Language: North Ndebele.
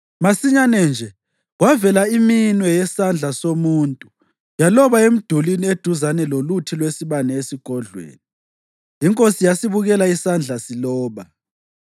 Masinyane nje kwavela iminwe yesandla somuntu yaloba emdulini eduzane loluthi lwesibane esigodlweni. Inkosi yasibukela isandla siloba.